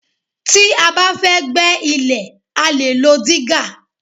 Tí a bá fẹ́ gbẹ́ ilẹ̀ a lè lo dígà